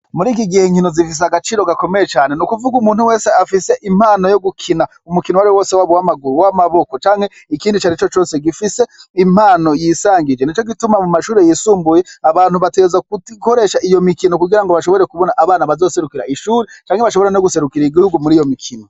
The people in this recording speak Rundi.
Muri kino gihe zifise agaciro gakomeye cane. N'ukuvuga umunte wese afise impano yo gukina umukino uwariwo wose waba uw'amaguru, uw'amaboko canke ikindi icarico cose gifise impano yisangije nico gituma mu mashure yisumbuye abantu bategerezwa gukoresha iyo mikino kugirango bashobore kubona abana baserukira ishure canke bashobora guserukira igihugu muriyo mikino.